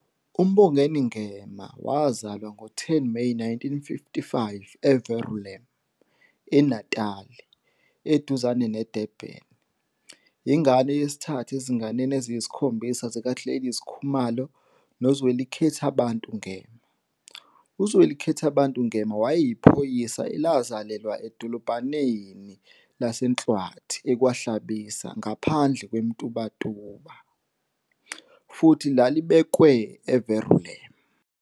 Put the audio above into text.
UMbongeni Ngema wazalwa ngo-10 Meyi 1955 eVerulam, eNatal, eduzane neDurban, ingane yesithathu ezinganeni eziyisikhombisa zikaGladys Hadebe noZwelikhethabantu Ngema. UZwelikhethabantu wayeyiphoyisa elazalelwa edolobhaneni lase-Nhlwathi, ekwaHlabisa, ngaphandle kweMtubatuba, futhi lalibekwe eVerulam.